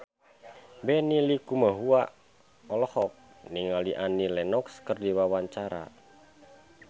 Benny Likumahua olohok ningali Annie Lenox keur diwawancara